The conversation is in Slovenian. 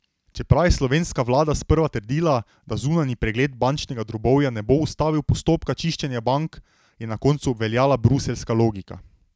Čeprav je slovenska vlada sprva trdila, da zunanji pregled bančnega drobovja ne bo ustavil postopka čiščenja bank, je na koncu obveljala bruseljska logika.